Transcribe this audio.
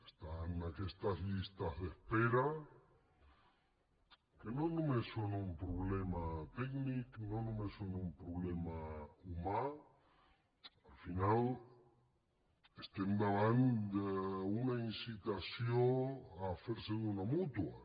estan aquestes llistes d’espera que no només són un problema tècnic no només són un problema humà al final estem davant d’una incitació a fer se d’una mútua